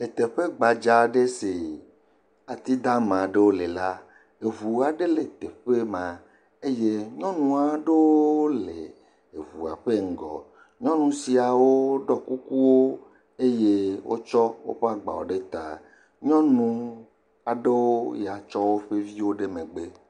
Le teƒe gbadzaa aɖe si, ati dama aɖewo le la, eŋu aɖewo le teƒe ma, nyɔnuwo aɖewo le eŋua ƒe ŋgɔ, nyɔnu siawo ɖɔ kukuwo eye wo tsɔ woƒe agbawo ɖe taa, nyɔnu aɖewo ya tsɔ woƒe viwo ɖe megbe.